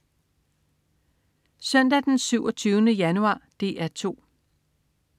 Søndag den 27. januar - DR 2: